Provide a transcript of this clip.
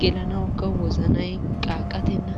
gelanawukka wozanay qaaqqatenna.